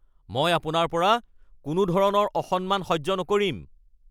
মই আপোনাৰ পৰা কোনো ধৰণৰ অসন্মান সহ্য নকৰিম